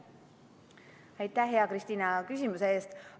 Aitäh, hea Kristina, küsimuse eest!